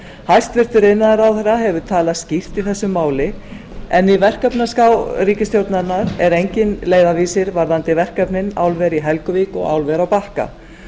hæstvirtur iðnaðarráðherra hefur talað skýrt í þessu máli en í verkefnaskrá ríkisstjórnarinnar er engin leiðarvísir varðandi verkefnin álver í helguvík og álver á bakka